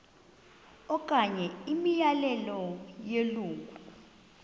okanye imiyalelo yelungu